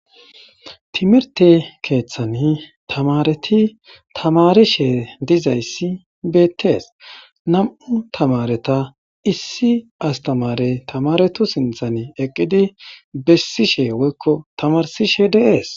timirte keeththani tamareti tamarishe dizayssi beettees nam'u tamareta issi astamare tamaretu sinthan eqqidi bessishe woykko tamarsishe de'ees